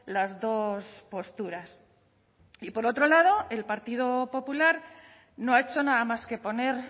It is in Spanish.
las dos posturas y por otro lado el partido popular no ha hecho nada más que poner